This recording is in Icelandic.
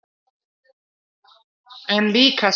En líka sælu.